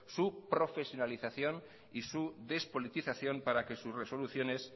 su profesionalización y su despolitización para que sus resoluciones